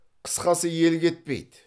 қысқасы ел кетпейді